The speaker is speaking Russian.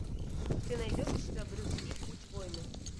ты найдешь у себя брюс ли путь война